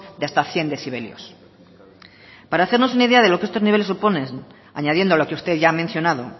de hasta cien decibelios para hacernos una idea de lo que estos niveles suponen añadiendo lo que usted ya ha mencionado